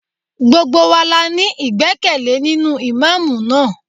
Gbogbo wa la ní ìgbẹ́kẹ̀lé nínú Ìmámúù náà.